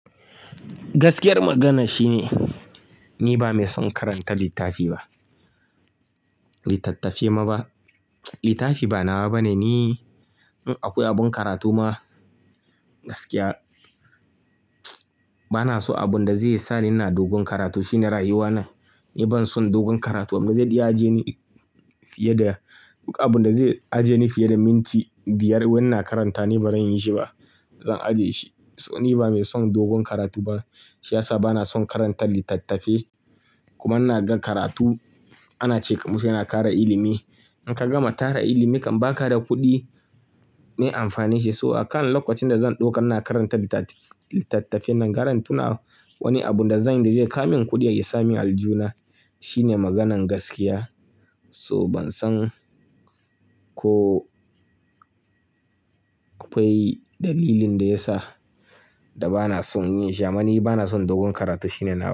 Gaskiyar maganar shine ni bamai son karanta littafi ba. Littattafai ma ba. Littafi ba nawa bane ni. In akwai abin karatu ma gaskiya, banaso abinda zai sani ina dogon karatu shine rayuwana. Ni banson dogon karatu. Abin da zai aje ni fiye da, duk abin da zai aje ni fiye da minti biyar wai ina karanta ni ba ran yi shi ba. Abin da zai aje ni fiye da, duk abin da zai aje ni fiye da minti biyar wai ina karanta ni ba ran yi shi ba. In ka gama tara ilimi kam baka da kuɗi mai amfani shi. So a kan lokacin da zan ɗauka ina karanta littattafai nan, gara in tuna wani abu da zai kam min kuɗi ya sa min aljuna shine maganan gaskiya. So ban san ko akwai dalilin da ya sa da bana son yin shi ama ni bana son dogon karatu shine nawa.